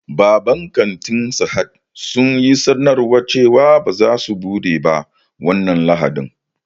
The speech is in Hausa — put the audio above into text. Babban kantin Sahad sun yi sanarwa cewa ba za su buɗe ba wannan lahadin